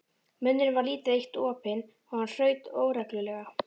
Munnurinn var lítið eitt opinn og hann hraut óreglulega.